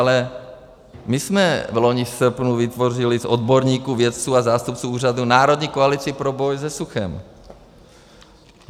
Ale my jsme loni v srpnu vytvořili z odborníků, vědců a zástupců úřadu Národní koalici pro boj se suchem.